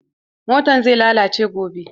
Motan zai lalace gobe.